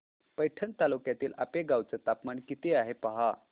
पैठण तालुक्यातील आपेगाव चं तापमान किती आहे पहा